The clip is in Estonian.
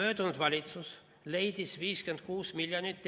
Eelmine valitsus leidis teadusele 56 miljonit.